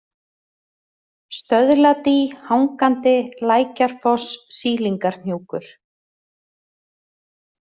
Stöðladý, Hangandi, Lækjarfoss, Sýlingarhnjúkur